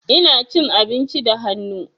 Ina cin abinci da hannu.